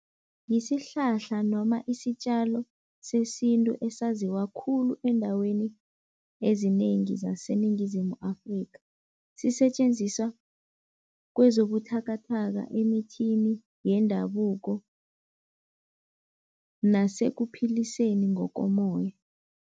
Yisihlahla noma isitjalo sesintu esaziwa khulu eendaweni ezinengi zaseNingizimu Afrika. Sisetjenziswa kwezobuthakathaka emithini yendabuko nasekuphiliseni ngokomoya.